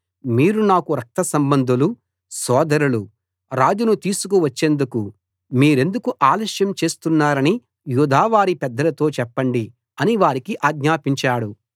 మీరు నాకు రక్త సంబంధులు సోదరులు రాజును తీసుకు వచ్చేందుకు మీరెందుకు ఆలస్యం చేస్తున్నారని యూదావారి పెద్దలతో చెప్పండి అని వారికి ఆజ్ఞాపించాడు